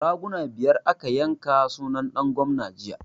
Raguna biyar aka yanka sunan ɗan gwamna jiya